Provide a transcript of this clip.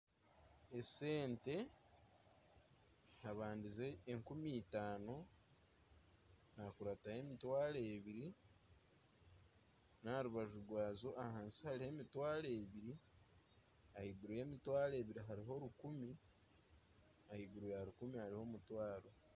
Esente habandize enkumi itaano hakurataho emitwaro ebiri n'aha rubaju rwazo ahansi hariho emitwaro ebiri ahaiguru y'emitwaro ebiri hariho rukumi ahaiguru ya rukumi hariho omutwaro